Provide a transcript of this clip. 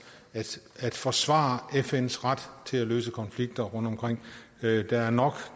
at forsvare fns ret til at løse konflikter rundtomkring der er nok